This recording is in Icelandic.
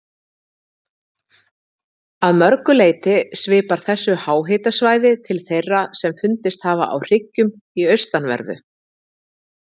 Að mörgu leyti svipar þessu háhitasvæði til þeirra sem fundist hafa á hryggjum í austanverðu